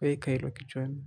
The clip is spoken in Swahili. Weka ilo kichwani.